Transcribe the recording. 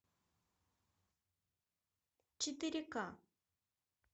четыре ка